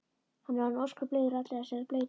Hann er orðinn ósköp leiður á allri þessari bleytu.